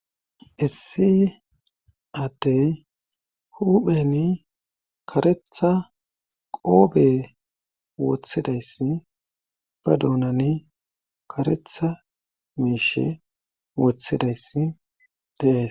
issi addey hupheni karetha qoobe woththidayssi ba duunani karetha miishe woththidayssi dees